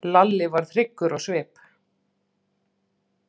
Lalli varð hryggur á svip.